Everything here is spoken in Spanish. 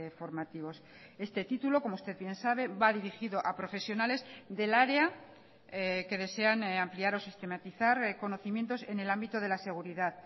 formativos este título como usted bien sabe va dirigido a profesionales del área que desean ampliar o sistematizar conocimientos en el ámbito de la seguridad